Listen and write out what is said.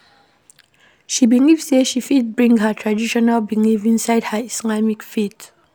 She believe sey she fit bring her traditional belief inside her Islamic faith.